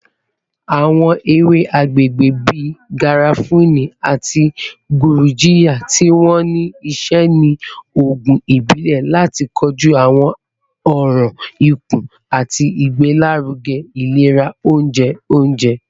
Awọn ewe agbegbe bii garafuni ati gurjiya ti wa ni iṣẹ ni oogun ibile lati koju awọn ọran ikun ati igbelaruge ilera ounjẹ ounjẹ.